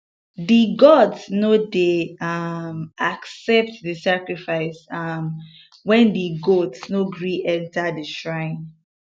di gods no dey um accept di sacrifice um when di goat um no gree enter di shrine